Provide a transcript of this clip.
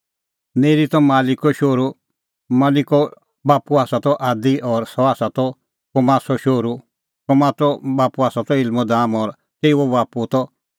नेरी त मलकीओ शोहरू मलकीओ बाप्पू आसा त आदी और सह त कोसामो शोहरू कोसामो बाप्पू आसा त इलमोदाम और तेऊओ बाप्पू त एर